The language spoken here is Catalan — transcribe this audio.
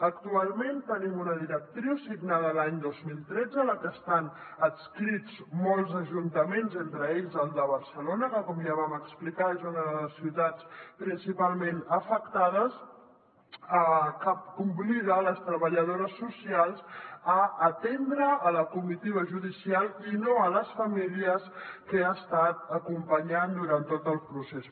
actualment tenim una directriu signada l’any dos mil tretze a la que estan adscrits molts ajuntaments entre ells el de barcelona que com ja vam explicar és una de les ciutats principal·ment afectades que obliga les treballadores socials a atendre la comitiva judicial i no les famílies que han estat acompanyant durant tot el procés